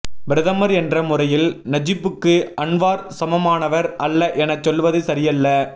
பிரதமர் என்ற முறையில் நஜிப்புக்கு அன்வார் சமமானவர் அல்ல எனச் சொல்வது சரியல்ல